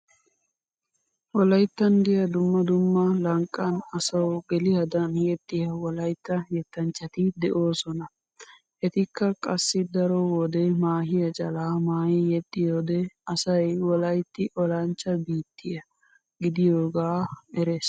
Wolayttan diya dumma dumma lanqqan asawu geliyadan yexxiya wolaytta yettanchchati de'oosona. Etikka qassi daro wode maahiya calaa maayi yexxiyode asay wolaytti olanchcha biitya gidiyogaa erees.